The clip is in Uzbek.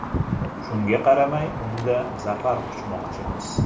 Shunga qaramay unda zafar quchmoqchimiz.